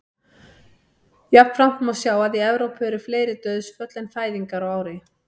Jafnframt má sjá að í Evrópu eru fleiri dauðsföll en fæðingar á ári.